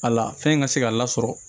A la fɛn ka se ka lasɔrɔ